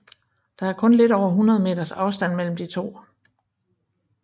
Der er kun lidt over 100 meters afstand mellem de to